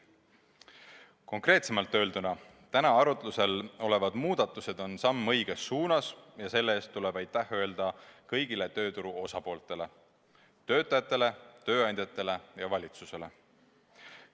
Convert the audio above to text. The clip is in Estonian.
Konkreetsemalt öelduna: täna arutusel olevad muudatused on samm õiges suunas ja selle eest tuleb aitäh öelda kõigile tööturu osapooltele: töötajatele, tööandjatele ja valitsusele.